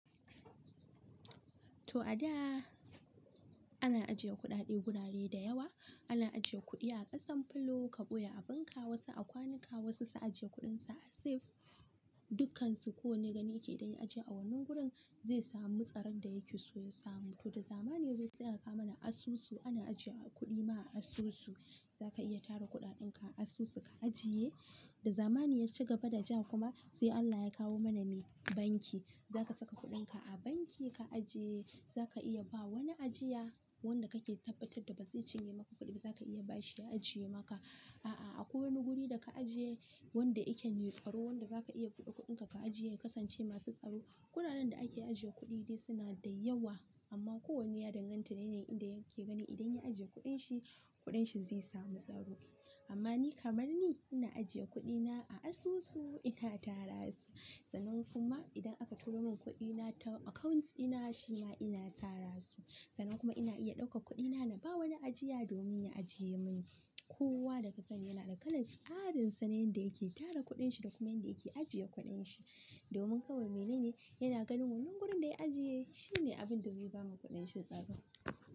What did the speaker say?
To a da ana ajiye kuɗaɗe wurare da yawa, ana ajiye kuɗi a ƙasan filo, ka ɓoye abinka wasu a kwanuka, wasu su ajiye kuɗinsu a safe. Dukansu ko wane gani yake idan ya ajiye a wannan gurin zai samu tsaron da yake so ya samu. To da zamani yazo sai aka kawo mana asusu, ana ajiye kuɗi ma a asusu. Zaka iya tara kuɗaɗenka a asusu ka ajiye. Da zamani ya ci gaba da ja kuma sai Allah ya kawo mana mai? Banki. Zaka saka kuɗinka a banki ka ajiye, zaka iya ba wani ajiya wanda kake tabbatar da ba zai cinye maka kuɗi ba zaka iya bashi ya ajiye maka. A'a akwai wani guri da ka ajiye wanda yake tsaro wanda zaka iya buɗe kuɗinka ka ajiye ya kasance masu tsaro. Guraren da ake ajiye kuɗi dai suna da yawa amma kowanne ya danganta da yanayin inda yake gani idan ya ajiye kuɗin shi kuɗin shi zai samu tsaro. Amma ni kamar ni ina ajiye kuɗina a asusu ina tara su. Sannan kuma idan aka turo min kuɗina ta account ɗina shi ma ina tara su. Sannan kuma ina iya ɗaukan kuɗina na ba wani ajiya domin ya ajiye min. Kowa daka sani yana da kalan tsarin sa na yanda yake tara kuɗin shi da kuma yanda yake ajiye kuɗin shi. Domin kawai mene ne yana ganin wannan gurin da ya ajiye shi ne abin da zai bawa kuɗin shi tsaro.